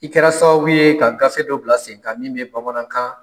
I kɛra sababu ye ka gafe dɔ bila sen kan min bɛ bamanankan